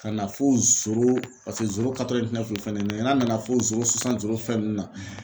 Ka na fo paseke fana n'a nana fɔ fɛn nunnu na.